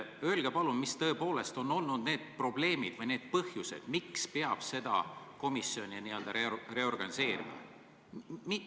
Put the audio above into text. Öelge palun, mis tõepoolest on olnud need probleemid või need põhjused, miks peab selle komisjoni n-ö reorganiseerima.